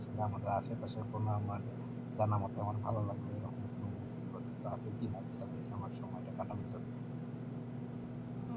আমাদের আশেপাশে কোন আমার জানামতে আমার ভালো লাগবে এইরকম কোনো movie বা কিছু আছে কি না যেটা দেখে আমার সময়টা কাটানো যাবে,